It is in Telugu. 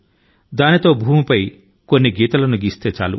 దానితో కొన్ని గీతల ను నేల మీద గీస్తారు